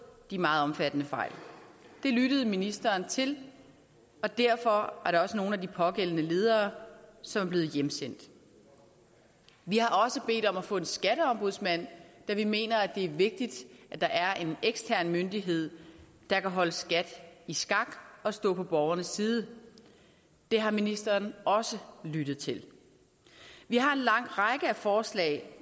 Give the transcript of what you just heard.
de meget omfattende fejl det lyttede ministeren til og derfor er der også nogle af de pågældende ledere som er blevet hjemsendt vi har også bedt om at få en skatteombudsmand da vi mener at det er vigtigt at der er en ekstern myndighed der kan holde skat i skak og stå på borgernes side det har ministeren også lyttet til vi har en lang række forslag